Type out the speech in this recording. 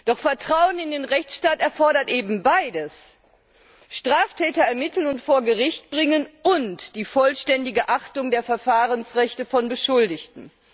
Doch Vertrauen in den Rechtsstaat erfordert eben beides Straftäter ermitteln und vor Gericht bringen UND die vollständige Achtung der Verfahrensrechte von Beschuldigten.